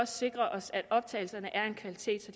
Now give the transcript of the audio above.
sikrer os at optagelserne er af en kvalitet